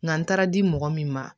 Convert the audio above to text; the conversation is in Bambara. Nka n taara di mɔgɔ min ma